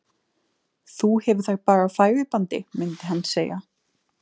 Þú hefur þær bara á færibandi, myndi hann segja.